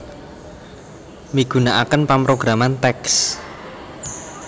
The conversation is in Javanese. Migunakaken pamrograman TeX